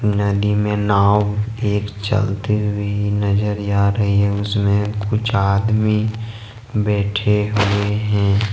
नदी में नाव एक चलते हुए नजर आ रही है उसमें कुछ आदमी बैठे हुए हैं।